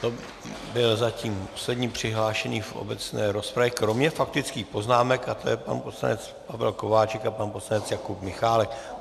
To byl zatím poslední přihlášený v obecné rozpravě, kromě faktických poznámek, a to je pan poslanec Pavel Kováčik a pan poslanec Jakub Michálek.